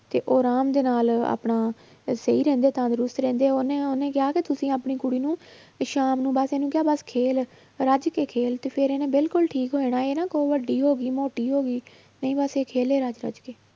ਤੇ ਉਹ ਆਰਾਮ ਦੇ ਨਾਲ ਆਪਣਾ ਇਹ ਸਹੀ ਰਹਿੰਦੇ ਆ ਤੰਦਰੁਸਤ ਰਹਿੰਦੇ ਆ ਉਹਨੇ ਉਹਨੇ ਕਿਹਾ ਕਿ ਤੁਸੀਂ ਆਪਣੀ ਕੁੜੀ ਨੂੰ ਵੀ ਸ਼ਾਮ ਨੂੰ ਬਸ ਇਹਨੂੰ ਕਿਹਾ ਬਸ ਖੇਲ ਰੱਜ ਕੇ ਖੇਲ ਤੇ ਫਿਰ ਇਹਨੇ ਬਿਲਕੁਲ ਠੀਕ ਹੋ ਜਾਣਾ ਇਹ ਨਾ ਉਹ ਵੱਡੀ ਹੋ ਗਈ ਮੋਟੀ ਹੋ ਗਈ ਨਹੀਂ ਬਸ ਇਹ ਖੇਲੇ ਰੱਜ ਰੱਜ ਕੇ